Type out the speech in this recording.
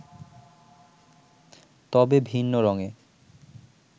তবে ভিন্ন রঙে